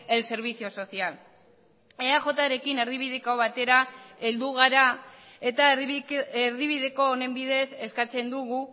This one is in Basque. el servicio social eajrekin erdibideko batera heldu gara eta erdibideko honen bidez eskatzen dugu